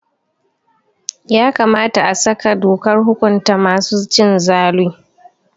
Ya kamata a saka dokar hukunta masu cin zalu.